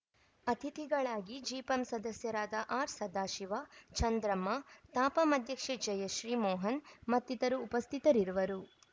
ಅತಿಥಿಗಳಾಗಿ ಜಿಪಂ ಸದಸ್ಯರಾದ ಆರ್‌ಸದಾಶಿವ ಚಂದ್ರಮ್ಮ ತಾಪಂ ಅಧ್ಯಕ್ಷೆ ಜಯಶ್ರೀಮೋಹನ್‌ ಮತ್ತಿತರರು ಉಪಸ್ಥಿತರಿರುವರು